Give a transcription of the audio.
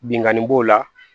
Binnkanni b'o la